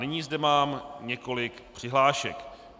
Nyní zde mám několik přihlášek.